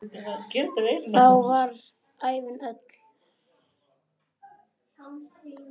Þá varð ævin öll.